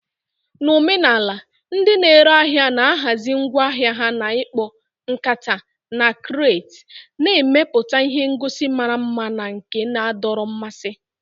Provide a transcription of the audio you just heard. Na omenala, ndị na-ere ahịa na-ahazi ngwa ahịa ha na ikpo, nkata, na crates, na-emepụta ihe ngosi mara mma na nke na-adọrọ mmasị.